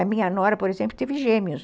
A minha nora, por exemplo, teve gêmeos.